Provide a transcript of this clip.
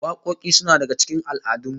Wakoki suna daga cikin al'adun mu